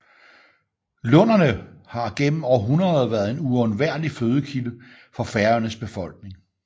Lunderne har gennem århundreder været en uundværlig fødekilde for Færøernes befolkning